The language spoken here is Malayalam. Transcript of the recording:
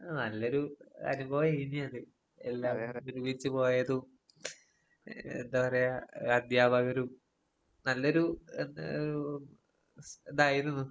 എഹ് നല്ലൊരു അനുഭവേഞ്ഞുവത്. എല്ലാവരും ഒരുമിച്ച് പോയതും, എഹ് എന്താ പറയാ അധ്യാപകരും നല്ലൊരു എന്താ ഒരു സ് ഇതായിരുന്നു.